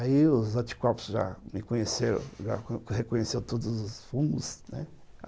Aí os anticorpos já me conheceram, já reconheceram todos os fungos, né?